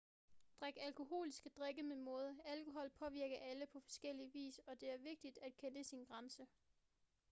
drik alkoholiske drikke med måde alkohol påvirker alle på forskellig vis og der er vigtigt at kende sin grænse